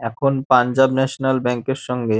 এখন Punjab National Bank এর সঙ্গে --